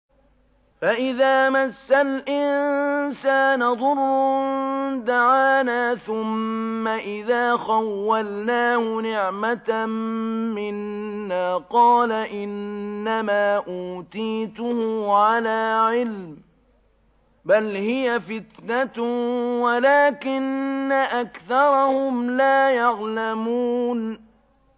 فَإِذَا مَسَّ الْإِنسَانَ ضُرٌّ دَعَانَا ثُمَّ إِذَا خَوَّلْنَاهُ نِعْمَةً مِّنَّا قَالَ إِنَّمَا أُوتِيتُهُ عَلَىٰ عِلْمٍ ۚ بَلْ هِيَ فِتْنَةٌ وَلَٰكِنَّ أَكْثَرَهُمْ لَا يَعْلَمُونَ